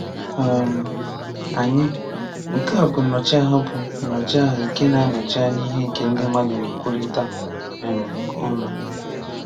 um Anyị (nke a bụ Nnọchiaha bụ Nnọchiaha nke na-anọchi anya ihe nke ndị mmadụ na-ekwurịta um ọnụ)